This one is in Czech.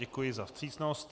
Děkuji za vstřícnost.